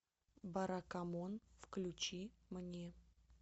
баракамон включи мне